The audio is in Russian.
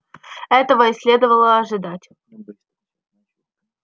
а этого и следовало ожидать